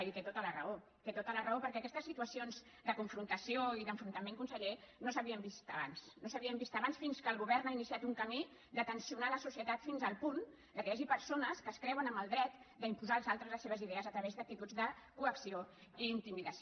i té tota la raó té tota la raó perquè aquestes situacions de confrontació i d’enfrontament conseller no s’havien vist abans no s’havien vist abans fins que el govern ha iniciat un camí de tensionar la societat fins al punt que hi hagi persones que es creuen amb el dret d’imposar als altres les seves idees a través d’actituds de coacció i intimidació